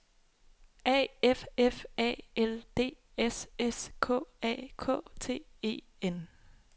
A F F A L D S S K A K T E N